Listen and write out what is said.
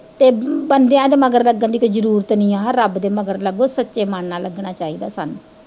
ਤੇ ਬੰਦਿਆ ਦੇ ਮਗਰ ਲੱਗਣ ਦੀ ਕੋਈ ਜਰੂਰਤ ਨੀ ਆ, ਰੱਬ ਦੇ ਮਗਰ ਲੱਗੋ ਸੱਚੇ ਮਨ ਨਾਲ ਲੱਗਣਾ ਚਾਹੀਦਾ ਸਾਨੂੰ।